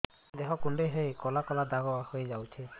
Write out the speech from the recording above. ଦେହ କୁଣ୍ଡେଇ ହେଇ କଳା କଳା ଦାଗ ହେଇଯାଉଛି